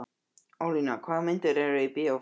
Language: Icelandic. Ólína, hvaða myndir eru í bíó á föstudaginn?